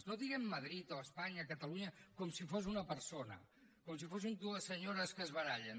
no diguem madrid o espanya o catalunya com si fos una persona com si fossin dues senyores que es barallen